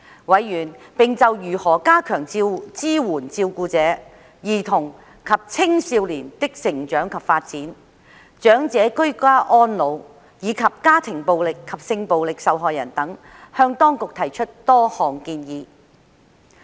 委員並就如何加強支援照顧者、兒童及青少年的成長及發展、長者居家安老，以及家庭暴力及性暴力受害人等，向當局提出多項建議。